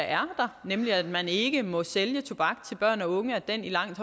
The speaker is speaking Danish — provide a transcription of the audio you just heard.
er der nemlig at man ikke må sælge tobak til børn og unge i langt